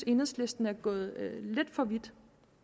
enhedslisten er gået lidt for vidt